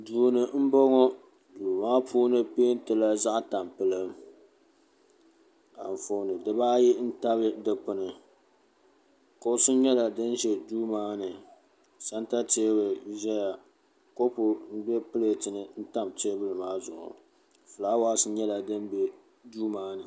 Duuni m boŋɔ duu maa puuni pentila zaɣa tampilim anfooni dibaayi n tabi dikpini kuɣusi nyɛla di ʒɛ duu maani santa teebuli ʒɛya kopu m be pileti ni n tam teebuli maa zuɣu filaawaasi nyɛla fin be suu maani.